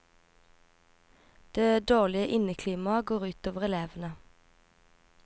Det dårlige inneklimaet går også utover elevene.